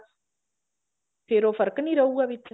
ਫੇਰ ਉਹ ਫਰਕ਼ ਨਹੀਂ ਰਹੂਗਾ ਵਿੱਚ